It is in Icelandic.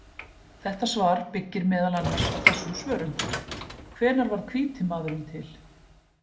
Þetta svar byggir meðal annars á þessum svörum: Hvenær varð hvíti maðurinn til?